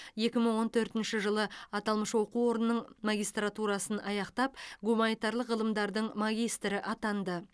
екі мың он төртінші жылы аталмыш оқу орнының магистратурасын аяқтап гуманитарлық ғылымдардың магистрі атанды